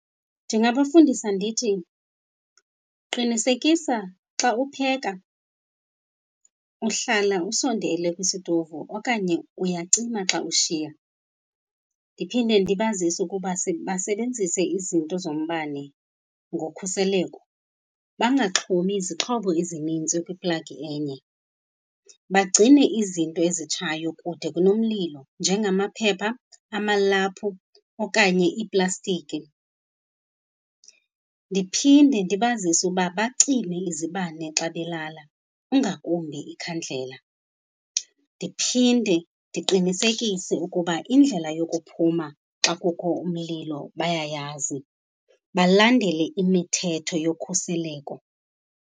Ndingabafundisa ndithi, qinisekisa xa upheka uhlala usondele kwisitovu okanye uyacima xa ushiya. Ndiphinde ndibazise ukuba basebenzise izinto zombane ngokhuseleko, bangaxhomi izixhobo ezininzi kwiplagi enye. Bagcine izinto ezitshayo kude kunomlilo, njengamaphepha, amalaphu okanye iiplastiki. Ndiphinde ndibazise uba bacime izibane xa belala, ingakumbi ikhandlela. Ndiphinde ndiqinisekise ukuba indlela yokuphuma xa kukho umlilo bayayazi, balandele imithetho yokhuseleko.